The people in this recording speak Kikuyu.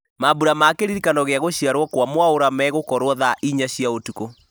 mambura ma kĩririkano gĩa gũciarwo kwa mwaũra megũkorwo thaa inyanya cia ũtukũ